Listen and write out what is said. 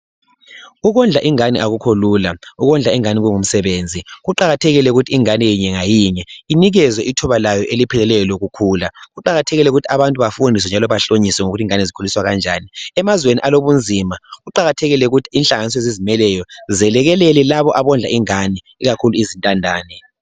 Ukondla ingane akukho lula. Ukondla ingane kungumsebenzi. Kuqakathekile ukuthi ingane inye ngayinye inikezwe ithuba layo elipheleleyo lokukhula. Kuqakathekile ukuthi abantu bafundiswe njalo bahlonyiswe ngokuthi ingane zikhuliswa kanjani. Emazweni alobunzima kuqakathekile ukuthi inhlanganiso ezizimeleyo zelekelele labo abondla ingane ikakhulu izintandane.